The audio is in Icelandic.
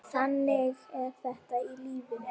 Þannig er þetta í lífinu.